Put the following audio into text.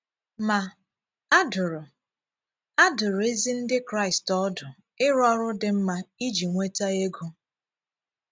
Ma, a dụ̀rụ, a dụ̀rụ ezi Ndị Kraịst ọdù ịrụ ọrụ dị mma iji nwetà égo.